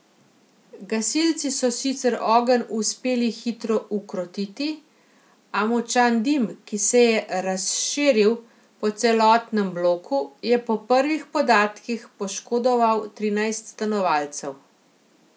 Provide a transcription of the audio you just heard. Gasilci so sicer ogenj uspeli hitro ukrotiti, a močan dim, ki se je razširil po celotnem bloku, je po prvih podatkih poškodoval trinajst stanovalcev.